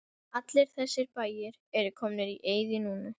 Allir þessir bæir eru komnir í eyði núna.